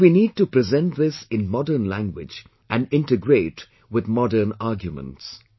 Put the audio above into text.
But we need to present this in modern language and integrate with modern arguments